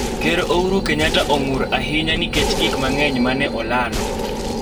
Ker Ouru Kenyatta ong'ur ahinya nikech gik mang'eny mane olalo